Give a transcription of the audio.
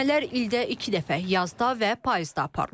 Ölçmələr ildə iki dəfə, yazda və payızda aparılır.